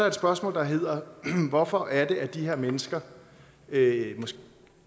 et spørgsmål der hedder hvorfor er det at de her mennesker